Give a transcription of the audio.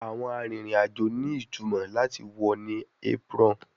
Awọn arinrin-ajo ni itumọ lati wọ ni apron